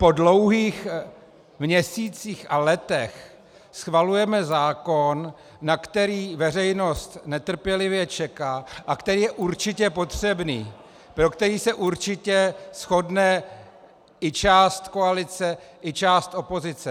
Po dlouhých měsících a letech schvalujeme zákon, na který veřejnost netrpělivě čeká a který je určitě potřebný, pro který se určitě shodne i část koalice i část opozice.